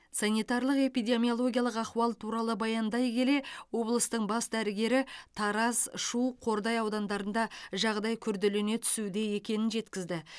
санитарлық эпидемиологиялық ахуал туралы баяндай келе облыстың бас дәрігері тараз шу қордай аудандарында жағдай күрделене түсуде екенін жеткізді